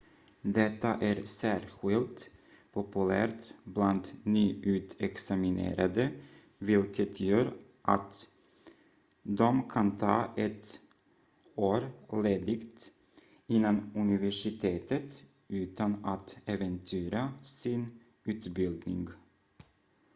detta är särskilt populärt bland nyutexaminerade vilket gör att de kan ta ett år ledigt innan universitetet utan att äventyra sin utbildning